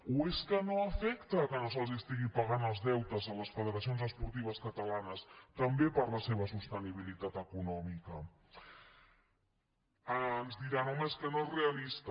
o és que no afecta que no se’ls estiguin pa·gant els deutes a les federacions esportives catalanes també per a la seva sostenibilitat econòmica ens diran home és que no és realista